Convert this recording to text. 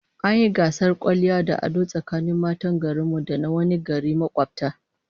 An yi gasar kwalliya da ado tsakanin matan garin mu da na wani gari makobta